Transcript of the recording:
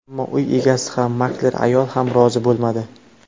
Ammo uy egasi ham, makler ayol ham rozi bo‘lmadi.